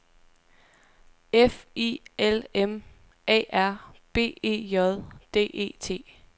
F I L M A R B E J D E T